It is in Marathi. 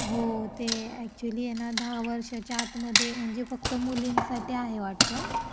हो ते ऍक्टचुअल्ली आहे ना दहा वर्षाचा आतमध्ये म्हणजे फक्त मुलींसाठी आहे वाटतं.